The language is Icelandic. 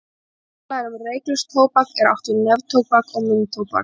Þegar talað er um reyklaust tóbak er átt við neftóbak og munntóbak.